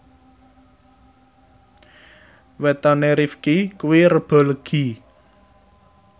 wetone Rifqi kuwi Rebo Legi